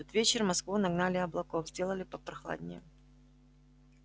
в тот вечер в москву нагнали облаков сделали попрохладней